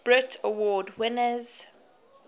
brit award winners